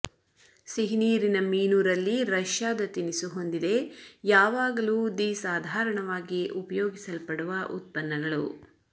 ಸಿಹಿನೀರಿನ ಮೀನು ರಲ್ಲಿ ರಷ್ಯಾದ ತಿನಿಸು ಹೊಂದಿದೆ ಯಾವಾಗಲೂ ದಿ ಸಾಧಾರಣವಾಗಿ ಉಪಯೋಗಿಸಲ್ಪಡುವ ಉತ್ಪನ್ನಗಳು